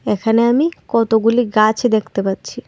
এখানে আমি কতগুলি গাছ দেখতে পাচ্ছি।